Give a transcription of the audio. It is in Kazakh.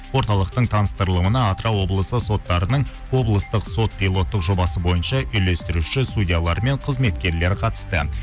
орталықтың таныстырылымына атырау облысы соттарының облыстық сот пилоттық жобасы бойынша үйлестіруші судьялар мен қызметкерлер қатысты